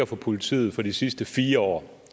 for politiet for de sidste fire år